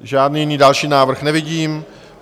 Žádný jiný další návrh nevidím.